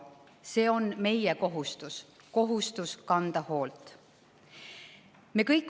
See on meie kohustus – kohustus kanda hoolt.